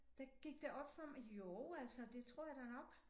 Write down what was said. Der gik det op for mig jo altså det tror jeg da nok